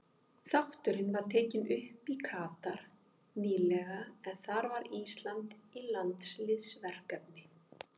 Þátturinn var tekinn upp í Katar nýlega en þar var Ísland í landsliðsverkefni.